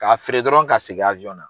K'a feere dɔrɔn ka segin na.